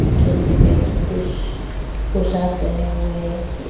जो सफेद रंग के पोशाक पहने हुए हैं।